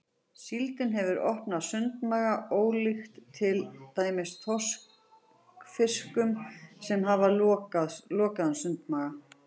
Síldin hefur opinn sundmaga ólíkt til dæmis þorskfiskum sem hafa lokaðan sundmaga.